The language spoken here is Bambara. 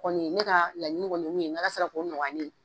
Kɔni ye ne ka laɲini kɔni ye mun ye n'ALA sela k'o nɔgɔya ne ye.